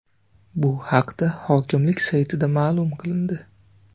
Bu haqda hokimlik saytida ma’lum qilindi .